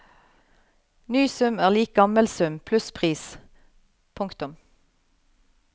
Ny sum er lik gammel sum pluss pris. punktum